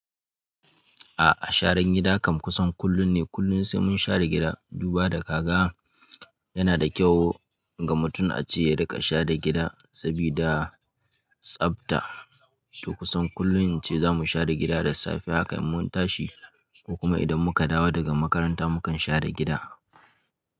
A'a sharar gida kam kusan kullum ne, kullum sai mun share gida. Duba da kaga yana da kyau ga mutum ace ya rika share gida sabida tsafta. To kusan kullum ince zamu share gida da safe haka in mun tashi ko kuma idan muka dawo daga makaranta mukan share gida.